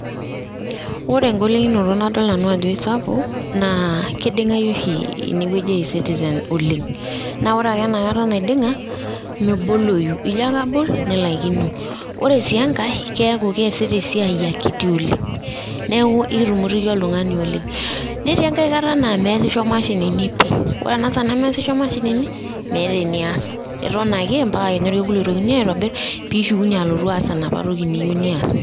Ore engolikinoto nadol nanu ajo kisapuk naa kidingayu oshi ine wueji e ecitizen oleng , naa ore ake enakata naidinga meboloyu, ijo ake abol nilaikino , ore sii enkae keku keasita esiaai akiti oleng, neku kitumitiki oltungani oleng ,netii enkae kata naa measisho mashinini pi! ore ena saa nemeasisho mashinini ,meeta enias ,iton ake ompaka kenya orkekun oitokini aitobir pishukunyie alotu aas enapa toki niyieu nias.